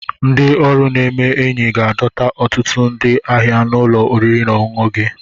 Ndị ọrụ na-eme enyi ga-adọta ọtụtụ ndị ahịa na ụlọ oriri na ọṅụṅụ gị